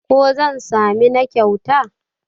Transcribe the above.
ko zan sami na kyauta?